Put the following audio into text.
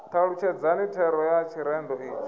talutshedzani thero ya tshirendo itsho